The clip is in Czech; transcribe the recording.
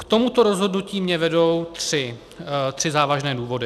K tomuto rozhodnutí mě vedou tři závažné důvody.